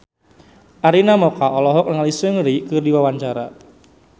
Arina Mocca olohok ningali Seungri keur diwawancara